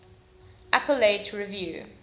appellate review